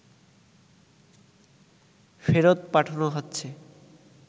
ফেরত পাঠানো হচ্ছে